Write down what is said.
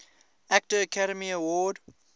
actor academy award